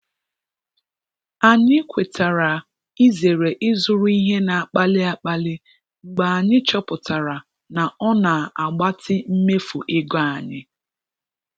Anyị kwetara izere ịzụrụ ihe na-akpali akpali mgbe anyị chọpụtara na ọ na-agbatị mmefu ego anyị.